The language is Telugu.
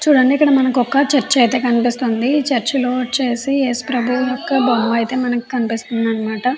చూడండి మనకి కదొక చర్చి అయితే ే కనిపిస్తుంది. ఈ చర్చ్ లో మనకి ఏసుప్రభు బొమ్మ కనిపిస్తుంది.